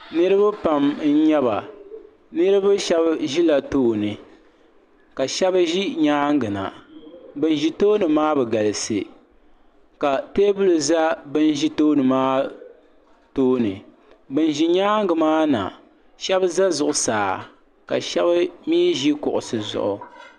niriba pam n-nyɛ ba niriba shɛba ʒela tooni ka shɛba ʒe nyaaga na ban ʒi tooni maa bi galisi ka teebuli za ban ʒi tooni maa tooni ban ʒi nyaaga maa na shɛba za zuɣusaa ka shɛba mi ʒi kuɣisi zuɣu.